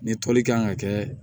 Ni toli kan ka kɛ